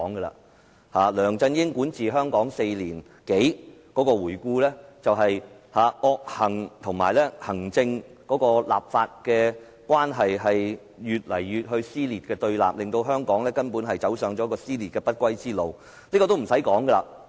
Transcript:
回顧梁振英管治香港4年多，是惡行，以及行政立法關係越見撕裂和對立，令香港走上撕裂的不歸路。